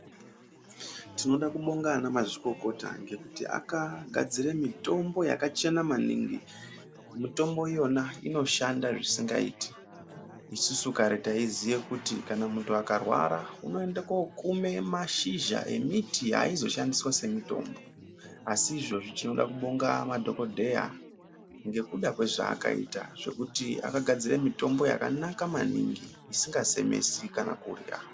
Tinoda kubonga ana mazvikokota ngekuti akagadzire mitombo yakachena maningi. Mutombo iyona inoshanda zvisingaiti. Isusu kare taiziye kuti kana muntu akarwara unoende kokume mashizha emiti aizoshandiswe semitombo asi izvozvi tinoda kubonga madhokodheya ngekuda kwezvaakaita zvekuti akagadzire mitombo yakanaka maningi isingasemesi kana kuya.